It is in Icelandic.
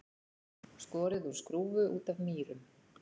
Skorið úr skrúfu út af Mýrum